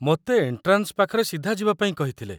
ମୋତେ ଏଣ୍ଟ୍ରାନ୍‌ସ୍‌ ପାଖରେ ସିଧା ଯିବାପାଇଁ କହିଥିଲେ